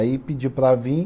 Aí pediu para vir.